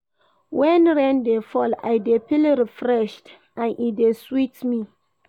Wen rain dey fall, I dey feel refreshed and e dey sweet me.